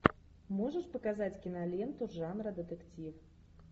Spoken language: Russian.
можешь показать киноленту жанра детектив